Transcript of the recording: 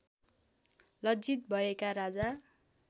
लज्जित भएका राजा